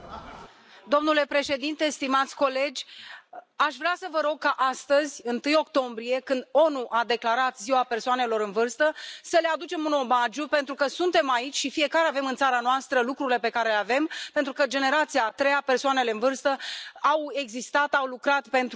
Domnule președinte, stimați colegi, aș vrea să vă rog ca astăzi, 1 octombrie, când ONU a declarat Ziua persoanelor în vârstă, să le aducem un omagiu, pentru că suntem aici și fiecare avem în țara noastră lucrurile pe care le avem, pentru că generația a treia, persoanele în vârstă au existat, au lucrat pentru noi.